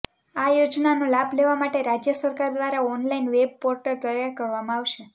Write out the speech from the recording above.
આ યોજનાનો લાભ લેવા માટે રાજ્ય સરકાર દ્વારા ઓનલાઈન વેબ પોર્ટલ તૈયાર કરવામાં આવશે